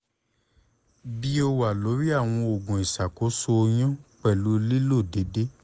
bi: -o wa lori awọn oogun iṣakoso oyun pẹlu lilo deede